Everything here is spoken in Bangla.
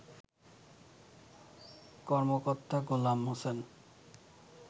কর্মকর্তা গোলাম হোসেন